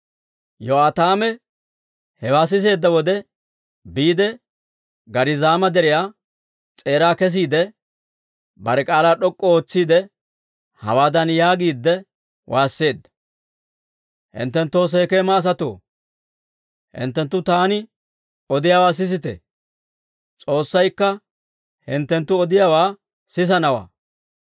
Yo'aataame hewaa siseedda wode, biide Gariizaama Deriyaa s'eeraa kesiide, bare k'aalaa d'ok'k'u ootsiide, hawaadan yaagiide waasseedda; «Hinttenttoo Sekeema asatoo, hinttenttu taani odiyaawaa sisite! S'oossaykka hinttenttu odiyaawaa sisanawaa.